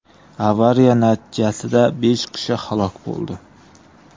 Avariya natijasida besh kishi halok bo‘ldi.